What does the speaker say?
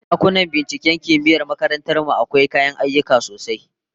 Dakunan binciken kimiyyar makarantar mu akwai kayan aiki sosai